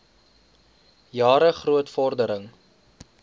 jare groot vordering